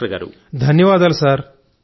ధన్యవాదాలు సార్